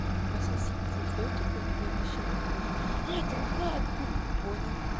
пососи фу что это такое блядь на член похоже а это рука от куклы понял